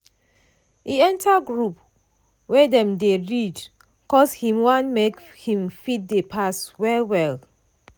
e enter group wey dem dey read cos him want make him fit dey pass well-well.